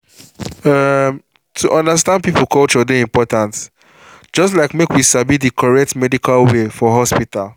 umm… to understand people culture dey important just like make we sabi the correct medical way for hospital